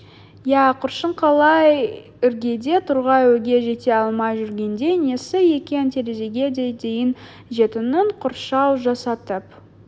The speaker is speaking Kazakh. иә көршің қалай іргеде тұрған үйге жете алмай жүргендей несі екен терезеге дейін жететін қоршау жасатып